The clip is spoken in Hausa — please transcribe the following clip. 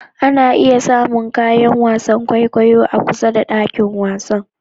Ana iya samun kayan wasan kwaikwayo a kusa da dakin wasan.